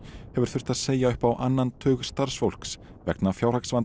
hefur þurft að segja upp á annan tug starfsfólks vegna